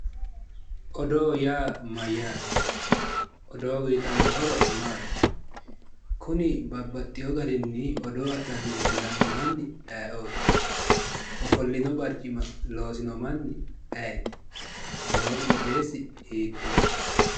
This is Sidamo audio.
oodo yaa maayaate oodo uyitano horo maati kunni babaxino garrini oodo adhani leelanno maani ayioot ofoolino bariccima loosino manni ayiti noo qoxeesi hittoho